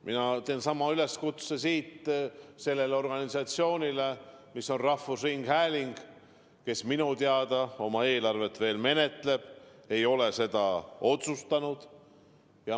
Mina teen siit sama üleskutse sellele organisatsioonile, mis on rahvusringhääling ja kes minu teada oma eelarvet veel menetleb, ei ole seda otsustanud.